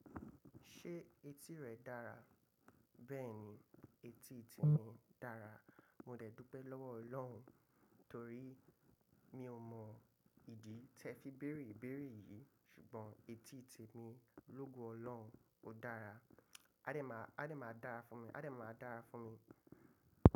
Ṣé etí rẹ dára? Bẹ́ẹ̀ni, etí ti mi dára. Mo dè dúpẹ́ lọ́wọ́ Ọlọ́run torí mi ò mọ̀ ìdí tẹ fi bèrè ìbérè yìí ṣùgbọ́n etí ti mi lógo Ọlọ́run ó dára. Adé máa, Adé máa dára fún mi, Adé máa dára fún mi.